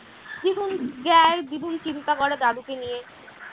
দিগুন যায় দিগুন চিন্তা করে দাদুকে নিয়ে